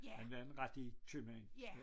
Han var en rigtig købmand